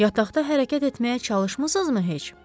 Yataqda hərəkət etməyə çalışmısızmı heç?